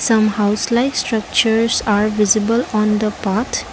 some house like structures are visible on the path.